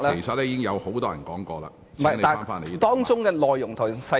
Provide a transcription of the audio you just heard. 剛才沒有太多議員提到當中的內容和細節......